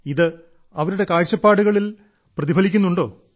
ഇത് അവരുടെ കാഴ്ചപ്പാടുകളിൽ പ്രതിഫലിക്കുന്നുണ്ടോ